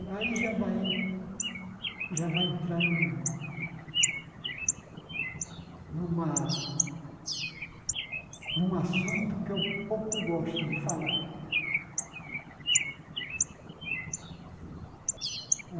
E aí já vai já vai entrar num numa num assunto que eu pouco gosto de falar.